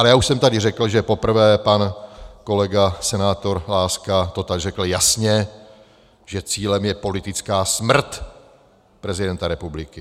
Ale já už jsem tady řekl, že poprvé pan kolega senátor Láska to tak řekl jasně, že cílem je politická smrt prezidenta republiky.